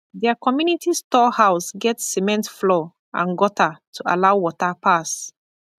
their community store house get cement floor and gutter to allow water pass